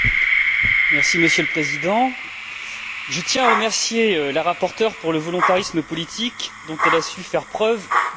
Monsieur le Président, je tiens à remercier la rapporteure pour le volontarisme politique dont elle a su faire preuve dans ce dossier.